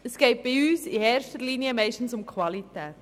Es geht bei uns meist in erster Linie um die Qualität.